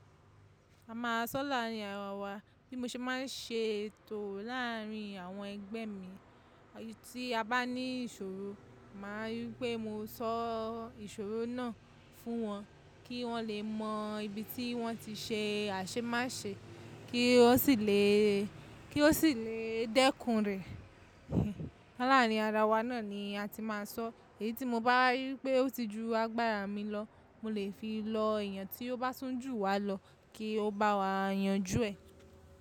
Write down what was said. A má sọ láàrin ara wa, bí mo ṣe máa ń ṣe ètò láàrin àwọn ẹgbẹ́ mi, tí abá ní ìṣòro máa rí wípé mo sọ ìṣòro náà fún wọn kí wọn lè mọ ibi tí wọn ti ṣe àṣe máṣe kí wọn sì lè kí wọn sílẹ̀ dẹ́kun rẹ. Láàrin ara wa náà ni a ti máa ń sọ èyí tí mo bá rí pé ó ti ju agbára mi lọ, mo lè fi lọ èèyàn tí ó bá tún jù wá lọ kí ó bá wa yanjú ẹ̀.